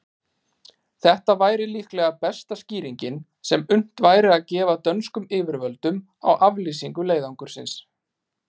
Þetta væri líka besta skýringin, sem unnt væri að gefa dönskum yfirvöldum á aflýsingu leiðangursins.